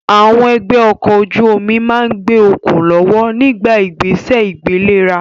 Àwọn ẹgbẹ́ ọkọ̀ ojú omi máa ń gbé okùn lọ́wọ́ nígbà ìgbésẹ̀ ìgbéléra